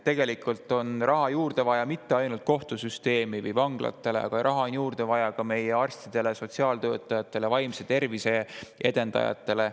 Tegelikult on raha juurde vaja mitte ainult kohtusüsteemi või vanglatele, vaid raha on juurde vaja ka meie arstidele, sotsiaaltöötajatele ja vaimse tervise edendajatele.